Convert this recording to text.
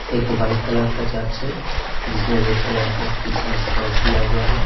एक white colour का church है जिसमें रेड कलर का क्रिसमस क्रॉस दिया हुआ है।